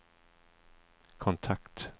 kontakt